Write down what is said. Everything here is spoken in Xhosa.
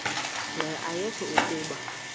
nqe ayekho kuba